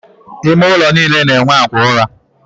Ime ụlọ niile na-enwe akwa ụra.